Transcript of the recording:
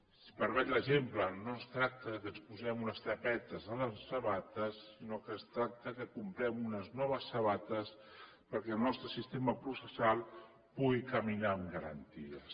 si em permet l’exemple no es tracta que ens posem unes tapetes a les sabates sinó que es tracta que comprem unes noves sabates perquè el nostre sistema processal pugui caminar amb garanties